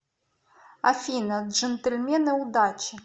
афина джнтельмены удачи